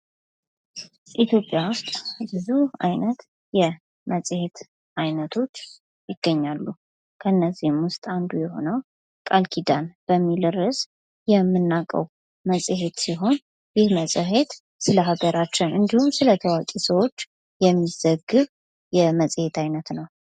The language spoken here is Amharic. በኢትዮጵያ ብዙ ዓይነት የመጽሔት አይነቶች ይገኛሉ ከነዚህም ውስጥ አንዱ የሆነው ቃልኪዳን በሚል ርዕስ የምንናው መጽሄት ሲሆን ይህ መጽሄት ስለሀገራችን እንዲሁም ስለ ታዋቂ ሰዎች የሚዘግብ የመጽሄት አይነት ነው።